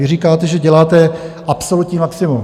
Vy říkáte, že děláte absolutní maximum.